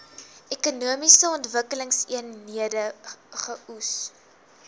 ekonomiese ontwikkelingseenhede eoes